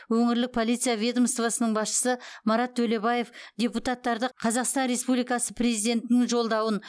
өңірлік полиция ведомствосының басшысы марат төлебаев депутаттарды қазақстан республикасы президентінің жолдауын